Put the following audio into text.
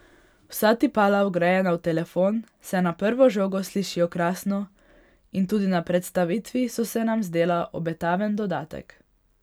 Vsa tipala, vgrajena v telefon, se na prvo žogo slišijo krasno in tudi na predstavitvi so se nam zdela obetaven dodatek.